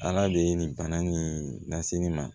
Ala be nin bana nin lase nin ma